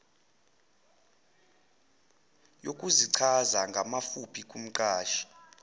yokuzichaza ngamafuphi kumqashi